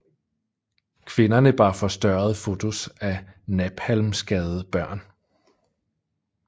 Kvinderne bar forstørrede fotos af napalmskadede børn